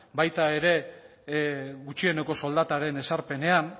baita ere gutxieneko soldataren ezarpenean